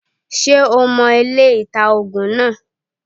Ṣé o mo ilé-ìta -ògùn naa